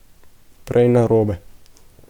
Prej narobe.